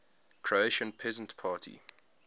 croatian peasant party